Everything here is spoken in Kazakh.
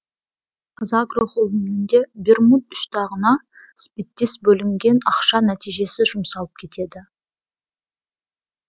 қазагро холдингінде бермуд үш тағына іспеттес бөлінген ақша нәтижесіз жұмсалып кетеді